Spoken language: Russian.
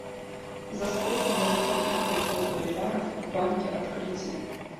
за сколько можно купить пятьсот боливаров в банке открытие